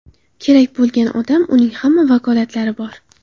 Kerak bo‘lgan odam, uning hamma vakolati bor.